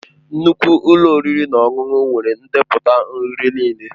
Nnukwu ụlọ oriri na ọṅụṅụ nwere ndepụta nri niile.